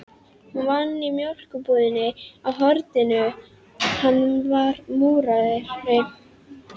Hún vann í mjólkurbúðinni á horninu, hann var múrari.